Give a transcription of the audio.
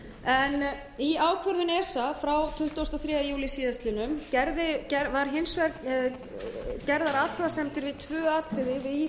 um ríkisaðstoð í ákvörðun esa frá tuttugasta og þriðja júlí síðastliðinn voru hins vegar gerðar athugasemdir við tvö atriði í